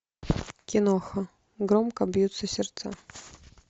киноха громко бьются сердца